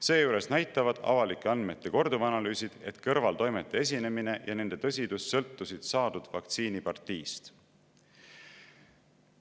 Seejuures näitavad avalike andmete korduvanalüüsid, et kõrvaltoimete esinemine ja nende tõsidus sõltusid saadud vaktsiini partiist.